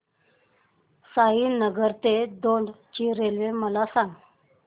साईनगर ते दौंड ची रेल्वे मला सांग